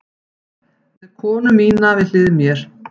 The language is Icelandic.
Með konu mína við hlið mér.